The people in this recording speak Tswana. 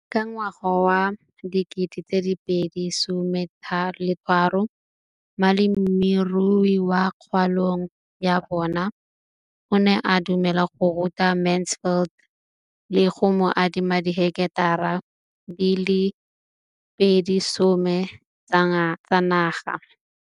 Ka ngwaga wa 2013, molemirui mo kgaolong ya bona o ne a dumela go ruta Mansfield le go mo adima di heketara di le 12 tsa naga.